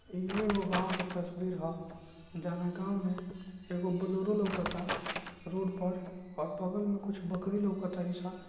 इ एगो गांव के तस्वीर ह जॉन गांव में एगो बोलरो लौकता रोड पर और बगल में कुछ बकरी लौकता --